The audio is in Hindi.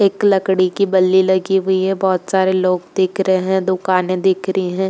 एक लकड़ी की बल्ली लगी हुई है। बोहोत सारे लोग दिख रहे हैं। दुकाने दिख रही है।